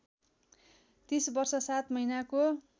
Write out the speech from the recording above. ३० वर्ष ७ महिनाको